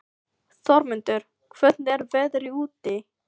Þormundur, hvernig er veðrið úti?